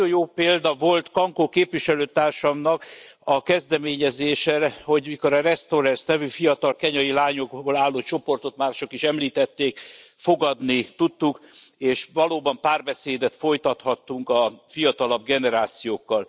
Ma nagyon jó példa volt, hogy Kanko képviselőtársamnak a kezdeményezésére a The Restorers nevű fiatal kenyai lányokból álló csoportot mások is említették fogadni tudtuk, és valóban párbeszédet folytathattunk a fiatalabb generációkkal.